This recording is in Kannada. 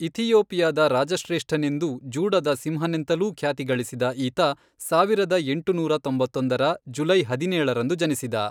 ಇಥಿಯೋಪಿಯದ ರಾಜಶ್ರೇಷ್ಠನೆಂದೂ ಜೂಡದ ಸಿಂಹನೆಂತಲೂ ಖ್ಯಾತಿಗಳಿಸಿದ ಈತ ಸಾವಿರದ ಎಂಟುನೂರ ತೊಂಬತ್ತೊಂದರ, ಜುಲೈ ಹದಿನೇಳರಂದು ಜನಿಸಿದ.